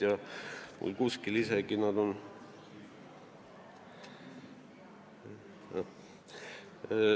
Mul on need kuskil isegi kirjas.